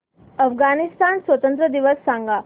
अफगाणिस्तान स्वातंत्र्य दिवस सांगा